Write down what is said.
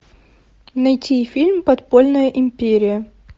найти фильм подпольная империя